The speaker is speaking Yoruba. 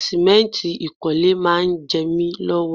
Sìmẹ́ǹtì ìkọ́lé máa ń jẹ mi lọ́wọ́